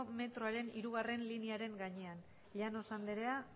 metroaren hirugarrena linearen gainean llanos andrea